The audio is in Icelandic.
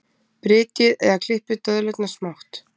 Brytjið eða klippið döðlurnar smátt.